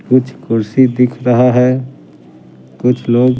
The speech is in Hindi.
कुछ कुर्सी दिख रहा है कुछ लोग--